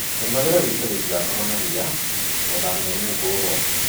rĩmagĩra gĩĩto gĩtĩgakorũo na rĩa. Gũthamĩa mĩũngũrũa